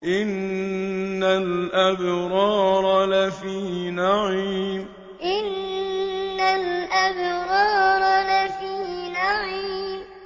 إِنَّ الْأَبْرَارَ لَفِي نَعِيمٍ إِنَّ الْأَبْرَارَ لَفِي نَعِيمٍ